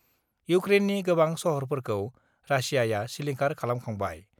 इउक्क्रेननि गोबां सहरफोरखौ रासियाआ सिलिंखार खालामखांबाय।